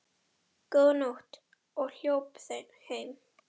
Góða nótt og hljóp heim.